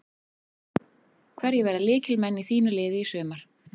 Hverjir verða lykilmenn í þínu liði í sumar?